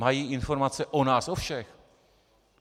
Mají informace o nás o všech.